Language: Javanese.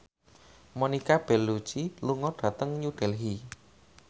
Monica Belluci lunga dhateng New Delhi